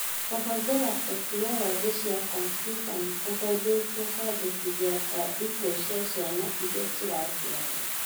Kũhũthĩra tekinoronjĩ cia kompiuta nĩ kũhũthĩtie kũandĩkithia kwa ikuũ na ciana irĩa ciaciarwo.